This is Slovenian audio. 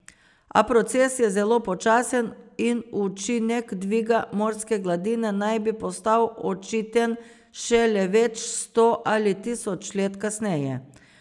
A proces je zelo počasen in učinek dviga morske gladine naj bi postal očiten šele več sto ali tisoč let kasneje.